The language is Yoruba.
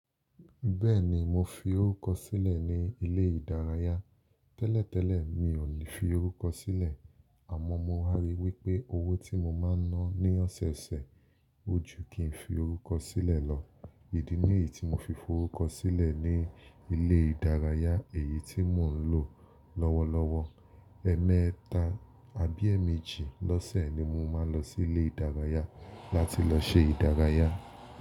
Bẹ́ẹ̀ ni, mo fi orúkọ sílẹ̀ ní ilé ìdárayá. Tẹ́lẹ̀tẹ́lẹ̀ mi ò ní fi orúkọ sílẹ̀, àmọ́ mo wa rí i wípé owó tí mo máa ń ná ní ọ̀sẹ̀osẹ̀ ojú kì í fi orúkọ sílẹ̀ lọ. Ìdí ní èyí tí mo fi fọrúkọ sílẹ̀ ní ilé ìdárayá èyí tí mò ń lò lọ́wọ́lọ́wọ́. Ẹmẹta àbí ẹ́ẹ̀mejì lọ́sẹ̀ ni mo máa ń lọ sí ilé ìdárayá láti lọ ṣe ìdárayá.